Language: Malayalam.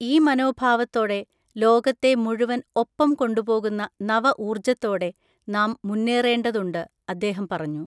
ഈ മനോഭാവത്തോടെ, ലോകത്തെ മുഴുവൻ ഒപ്പം കൊണ്ടുപോകുന്ന നവ ഊർജ്ജത്തോടെ, നാം മുന്നേറേണ്ടതുണ്ട് അദ്ദേഹം പറഞ്ഞു.